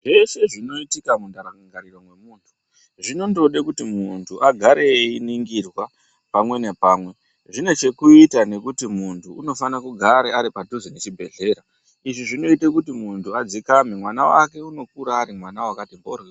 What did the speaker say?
Zveshe zvinoitika mundangariro memuntu zvinongoda kuti muntu agare einingurwa pamwe zvine chekuita nekuti muntu unofana kugara Ari padhuze pachibhedhlera izvi zvinoita kuti muntu adzikame mwana wake anokura akati mboryo.